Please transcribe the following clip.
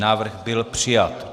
Návrh byl přijat.